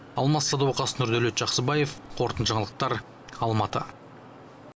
алмас садуақас нұрдәулет жақсыбаев қорытынды жаңалықтар алматы